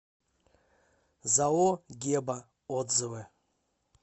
зао геба отзывы